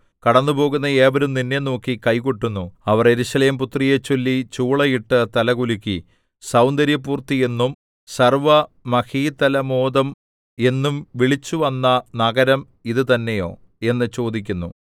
കടന്നുപോകുന്ന ഏവരും നിന്നെ നോക്കി കൈ കൊട്ടുന്നു അവർ യെരൂശലേംപുത്രിയെച്ചൊല്ലി ചൂളയിട്ട് തലകുലുക്കി സൗന്ദര്യപൂർത്തി എന്നും സർവ്വമഹീതലമോദം എന്നും വിളിച്ചുവന്ന നഗരം ഇത് തന്നെയോ എന്ന് ചോദിക്കുന്നു